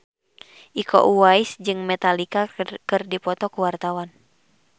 Iko Uwais jeung Metallica keur dipoto ku wartawan